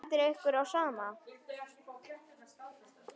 Stendur ykkur á sama?